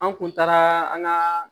An kun taara an ka